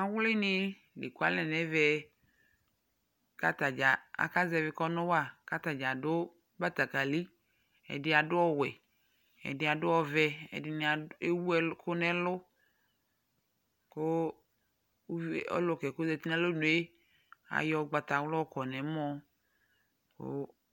Awlɩnɩ la ekualɛ nʋ ɛvɛ kʋ ata dza akazɛvɩ kɔnʋ wa kʋ ata dza adʋ batakalɩ Ɛdɩ adʋ ɔwɛ, ɛdɩ adʋ ɔvɛ, ɛdɩnɩ ewu ɛlʋ ɛkʋ nʋ ɛlʋ kʋ ɔlʋka yɛ kʋ ɔzati nʋ alɔnu yɛ ayɔ ʋgbatawla yɔkɔ nʋ ɛmɔ kʋ